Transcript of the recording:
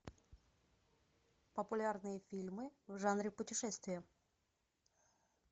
популярные фильмы в жанре путешествия